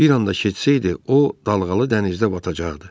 Bir anda getsəydi, o dalğalı dənizdə batacaqdı.